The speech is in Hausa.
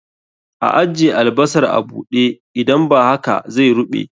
A ajje albasar a buɗe, idan ba haka zai ruɓe